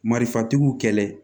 Marifatigiw kɛlɛ